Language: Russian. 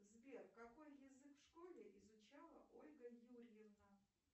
сбер какой язык в школе изучала ольга юрьевна